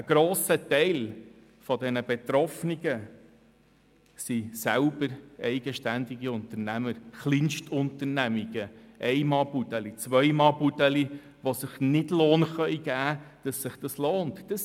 Ein grosser Teil dieser Betroffenen sind selber eigenständige Unternehmer, Kleinstunternehmungen, Ein-Mann-«Budeli», Zwei-Mann-«Budeli», die sich keinen Lohn geben können, so dass es sich lohnen würde.